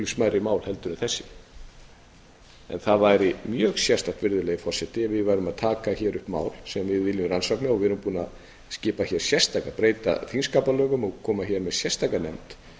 smærri mál heldur en þessi það væri mjög sérstakt virðulegi forseti ef við værum að taka hér upp mál sem við viljum rannsaka og við erum búin að skipa hér sérstaka breyta þingskapalögum og koma hér með sérstaka nefnd